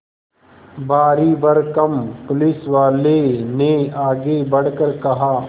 भारीभरकम पुलिसवाले ने आगे बढ़कर कहा